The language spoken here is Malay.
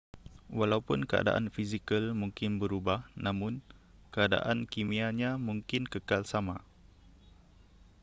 walaupun keadaan fizikal mungkin berubah namun keadaan kimianya mungkin kekal sama